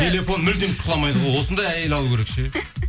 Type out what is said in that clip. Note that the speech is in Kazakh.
телефон мүлде шұқыламайды ғой осындай әйел алу керек ше